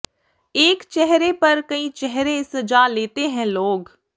ਏਕ ਚੇਹਰੇ ਪਰ ਕਈ ਚੇਹਰੇ ਸਜਾ ਲੇਤੇ ਹੈਂ ਲੋਗ